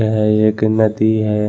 यह एक नदी है।